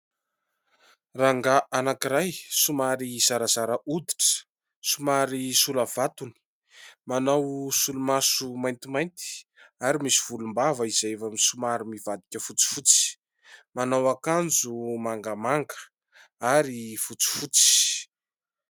Rangahy anankiray somary zarazara hoditra, somary sola vatony, manao solomaso maintimainty ary misy volom-bava izay efa somary mivadika fotsifotsy, manao akanjo mangamanga ary fotsifotsy.